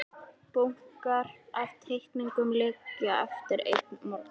Bunkar af teikningum liggja eftir einn morgun.